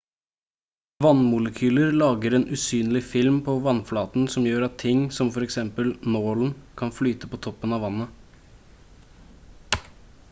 vannmolekyler lager en usynlig film på vannflaten som gjør at ting som f.eks nålen kan flyte på toppen av vannet